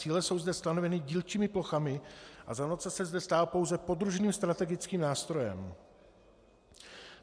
Cíle jsou zde stanoveny dílčími plochami a zonace se zde stává pouze podružným strategickým nástrojem.